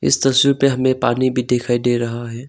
इस तस्वी में हमें पानी भी दिखाई दे रहा है।